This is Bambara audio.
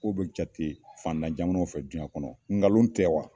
Ko be jate fantan jamanaw fɛ duyan kɔnɔ nkalon tɛ wa ?